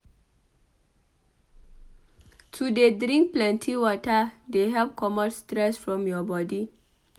To dey drink plenty wata dey help comot stress from your bodi.